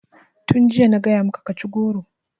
Tun jiya na gaya maka ka ci goro!